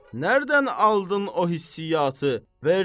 Nərdən aldın o hissiyatı?